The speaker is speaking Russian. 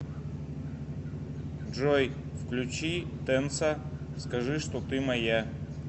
джой включи тэнса скажи что ты моя